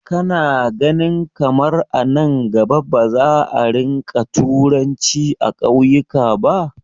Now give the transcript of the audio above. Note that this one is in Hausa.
Ka na ganin kamar a nan gaba ba za a rinƙa turanci a ƙauyuka ba?